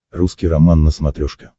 русский роман на смотрешке